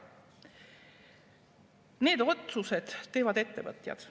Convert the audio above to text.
Need otsused teevad ettevõtjad.